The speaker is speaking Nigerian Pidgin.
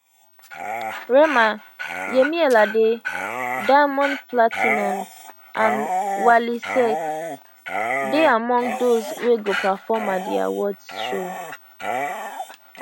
rema yemi alade diamond platnumz and wally seck dey among those wey go perform at the awards show